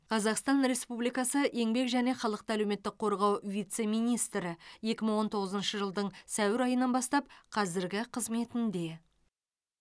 қазақстан республикасы еңбек және халықты әлеуметтік қорғау вице министрі екі мың он тоғызыншы жылдың сәуір айынан бастап қазіргі қызметінде